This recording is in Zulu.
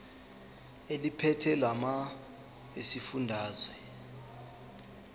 eliphethe lamarcl esifundazwe